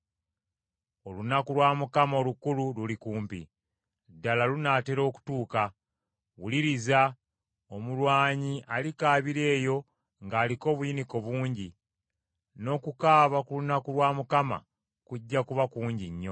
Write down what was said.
Olunaku lwa Mukama olukulu luli kumpi; ddala lunaatera okutuuka. Wuliriza! Omulwanyi alikaabira eyo ng’aliko obuyinike bungi, n’okukaaba ku lunaku lwa Mukama kujja kuba kungi nnyo.